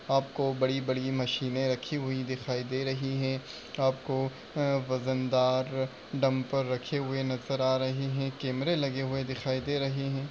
आपको बड़ी बड़ी मशीने रखी दिखाई दे रही है आपको अ वजनदार डंपर रखे हुवे नजर आ रहे है कैमरा लगे दिखाई दे रहे है।